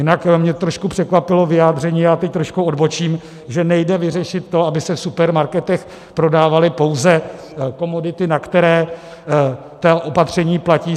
Jinak mě trošku překvapilo vyjádření, já teď trošku odbočím, že nejde vyřešit to, aby se v supermarketech prodávaly pouze komodity, na které ta opatření platí.